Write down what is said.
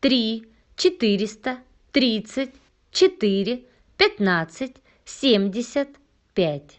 три четыреста тридцать четыре пятнадцать семьдесят пять